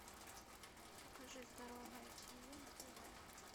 покажи здоровое тиви на тв